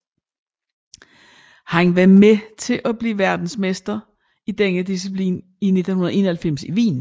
Han var med til at blive verdensmester i denne disciplin i 1991 i Wien